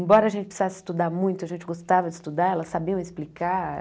Embora a gente precisasse estudar muito, a gente gostava de estudar, elas sabiam explicar.